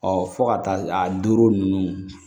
Ɔ fo ka taa a don ninnu